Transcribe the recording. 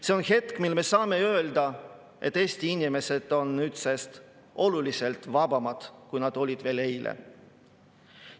See on hetk, mil me saame öelda, et Eesti inimesed on nüüdsest oluliselt vabamad, kui nad olid veel eile.